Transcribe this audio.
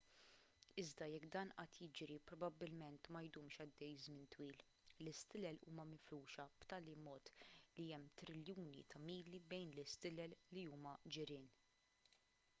iżda jekk dan qatt jiġri probabbilment ma jdumx għaddej żmien twil l-istilel huma mifruxa b'tali mod li hemm triljuni ta' mili bejn l-stilel li huma ġirien